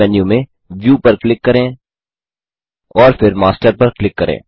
मुख्य मेन्यू में व्यू पर क्लिक करें और फिर मास्टर पर क्लिक करें